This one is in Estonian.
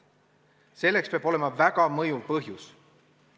Selleks peab olema väga mõjuv põhjus.